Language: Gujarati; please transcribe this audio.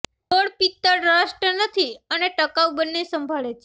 ડોર પિત્તળ રસ્ટ નથી અને ટકાઉ બને સંભાળે છે